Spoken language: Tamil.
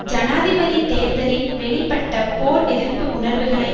ஜனாதிபதி தேர்தலில் வெளிப்பட்ட போர் எதிர்ப்பு உணர்வுகளை